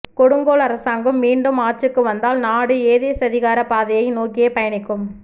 கொடுங்கோல் அரசாங்கம் மீண்டும் ஆட்சிக்கு வந்தால் நாடு ஏதேச்சதிகார பாதையை நோக்கியே பயணிக்கும்